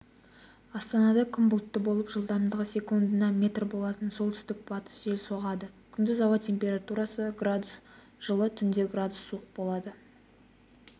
астанада күн бұлтты болып жылдамдығы секундына метр болатын солтүстік-батыстық жел соғады күндіз ауа температурасы градус жылы түнде градус суық болады